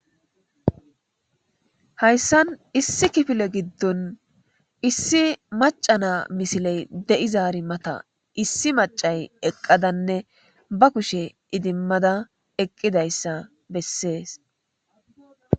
Hayssan issi kifile giddon issi maca na misiley de'izaari mata issi macay eqqadanne ba kushe idimmada eqqidayssa bessees.